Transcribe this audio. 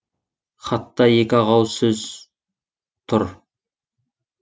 хатта екі ақ ауыз сөз тұр